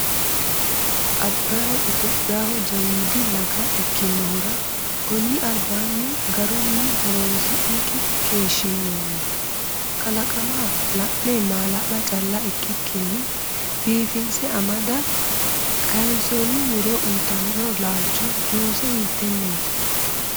Abbay Itophiyaho jawiidi laga ikkirono konni albaanni garunni horonsi’nikki keeshshinoonni Kalaqama la’ne maala’la calla ikkikkinni biifise amada kayinoson muro uyitino lalichi juuce hiiteneti?